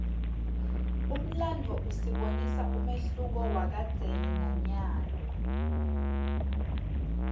umlandvo usibonisa umehluko wakadzeni nanyalo